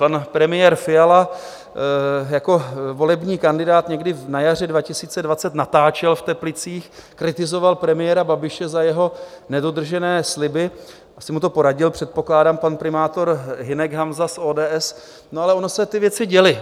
Pan premiér Fiala jako volební kandidát někdy na jaře 2020 natáčel v Teplicích, kritizoval premiéra Babiše za jeho nedodržené sliby - asi mu to poradil předpokládám pan primátor Hynek Hanza z ODS - no ale ony se ty věci děly.